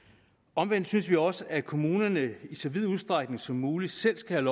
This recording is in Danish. omvendt synes vi også at kommunerne i så vid udstrækning som muligt selv skal